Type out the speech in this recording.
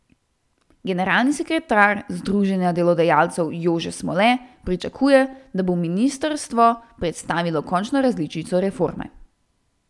Generalni sekretar združenja delodajalcev Jože Smole pričakuje, da bo ministrstvo predstavilo končno različico reforme.